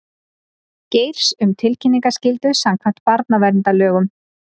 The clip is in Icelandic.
Geirs um tilkynningaskyldu samkvæmt barnaverndarlögum